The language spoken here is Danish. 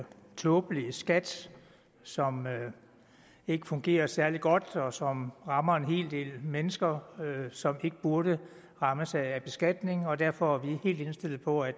tåbelig skat som ikke fungerer særlig godt og som rammer en hel del mennesker som ikke burde rammes af beskatning og derfor er vi helt indstillet på at